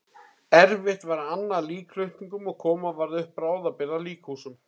Erfitt var að anna líkflutningum og koma varð upp bráðabirgða líkhúsum.